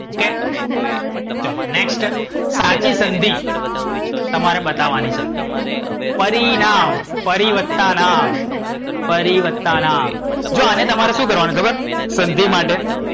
ચાલો next સાચી સંધિ તમારે બતાવાની છે પરિણામ, પરિ વત્તા નામ. પરિ વત્તા નામ જો આને તમારે સુ કરવાનું ખબર સંધિ માટે?